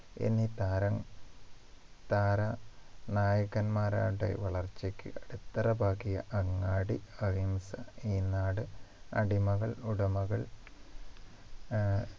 എന്നീ താര താര നായകൻമാരടെ വളർച്ചയ്ക്ക് അടിത്തറ പാകിയ അങ്ങാടി അഹിംസ ഈ നാട് അടിമകൾ ഉടമകൾ ആഹ്